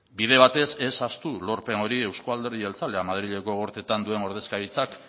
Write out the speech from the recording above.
bide batez ez ahaztu lorpen hori eusko alderdi jeltzalea madrileko gorteetan duen ordezkaritzak